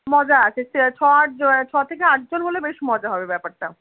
মজা আছে ছ আটজন ছ থেকে আটজন হলে বেশ মজার হবে ব্যাপারটা